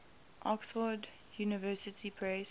oxford university press